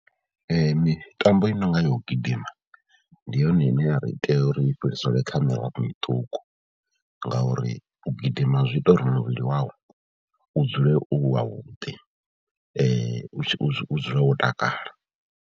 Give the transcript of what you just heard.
Mitambo i no nga ya u gidima ndi yone ine ya ri itea uri fhiriselwe kha mirafho miṱuku ngauri u gidima zwi ita uri muvhili wau u dzule u wavhuḓi u dzule wo takala.